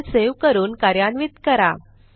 file save करून कार्यान्वित करा